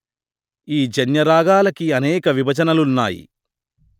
ఈ జన్య రాగాలకీ అనేక విభజనలున్నాయి